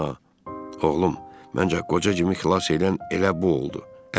Oğlum, məncə qoca Cim ixlas edən elə bu oldu.